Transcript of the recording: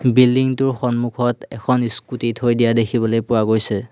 Building টোৰ সন্মুখত এখন স্কুটি থৈ দিয়া দেখিবলৈ পোৱা গৈছে।